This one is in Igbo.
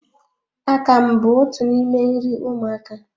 Akamụ bụ otu n'ime nri ụmụaka